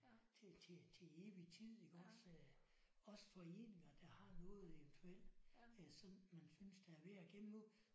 Til til til evig tid iggås øh. Også foreninger der har noget eventuelt øh som man synes der er værd at gemme på